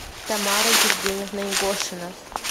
тамара евгеньевна егошина